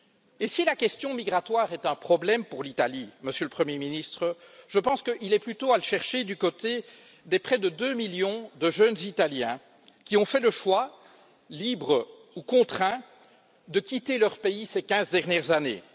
Et si la question migratoire est un problème pour l'Italie, Monsieur le Premier ministre, je pense qu'il est plutôt à chercher du côté des presque deux millions de jeunes Italiens qui ont fait le choix, libre ou contraint, de quitter leur pays ces quinze dernières années.